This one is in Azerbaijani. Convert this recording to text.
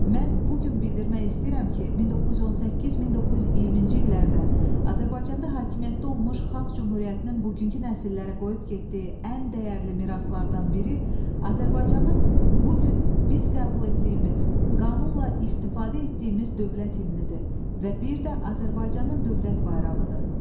"Mən bu gün bildirmək istəyirəm ki, 1918-1920-ci illərdə Azərbaycanda hakimiyyətdə olmuş Xalq Cümhuriyyətinin bugünkü nəsillərə qoyub getdiyi ən dəyərli miraslardan biri Azərbaycanın bu gün biz qəbul etdiyimiz, qanunla istifadə etdiyimiz dövlət himnidir və bir də Azərbaycanın dövlət bayrağıdır."